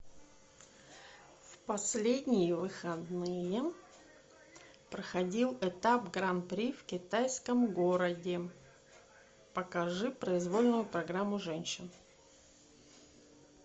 в последние выходные проходил этап гран при в китайском городе покажи произвольную программу женщин